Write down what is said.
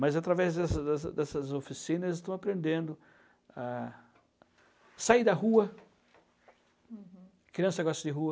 Mas através dessa dessa dessas oficinas eles estão aprendendo a sair da rua, negócio de rua.